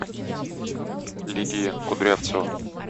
лидия кудрявцева